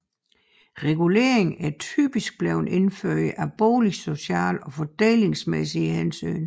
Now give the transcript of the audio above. Reguleringen er typisk blevet indført af boligsociale og fordelingsmæssige hensyn